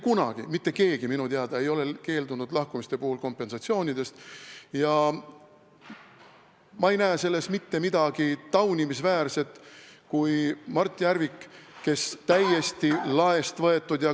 Ma ei näe selles Mart Järviku puhul mitte midagi taunimisväärset, sest täiesti laest võetud ...